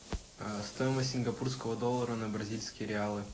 стоимость сингапурского доллара на бразильские реалы